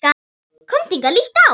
Komdu hingað, líttu á!